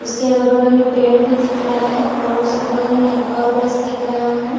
उसके अगल-बगल मे पेड़ भी दिख रहा है और उसके बगल मे एक और बस दिख रहा है।